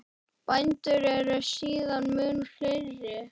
Bændur eru síðan mun fleiri.